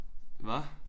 Hvad?